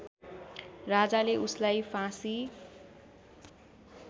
राजाले उसलाई फाँसी